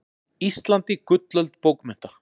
Íslandi gullöld bókmennta.